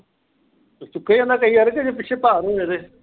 ਚੁਕਿਆ ਜਾਂਦਾ ਜੇ ਪਿਛੇ ਭਾਰ ਹੋਵੇ ਤੇ